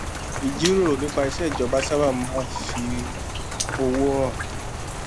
ìjíròrò nípa iṣé ìjọba sábà máa ń fi òwò hàn